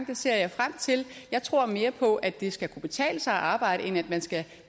det ser jeg frem til jeg tror mere på at det skal kunne betale sig at arbejde end at man skal